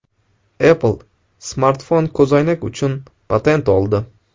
Apple smartfon-ko‘zoynak uchun patent oldi.